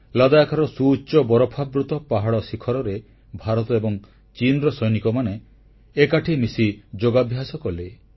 ଲଦାଖର ସୁଉଚ୍ଚ ବରଫାବୃତ ପାହାଡ଼ ଶିଖରରେ ଭାରତ ଏବଂ ଚୀନର ସୈନିକମାନେ ଏକାଠି ମିଶି ଯୋଗାଭ୍ୟାସ କଲେ